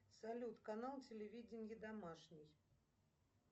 салют канал телевидения домашний